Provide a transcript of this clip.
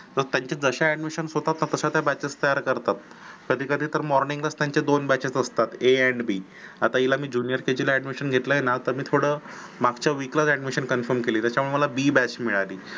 तर त्यांचे जसे admission होतात तश्या ते batches तयार करतात कधी कधी तर morning ला त्यांचे दोन batches असतात. a and b आता मी हिला junior kg ला admission घेतलय ना आता मी थोडं मागच्या week लाच admission confirm केली त्याच्यामुळे मला b batch मिळाली